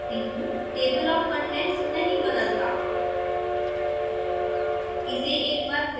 अब compile करती हूँ table of contents नहीं बदलता